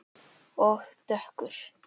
Og dökkur.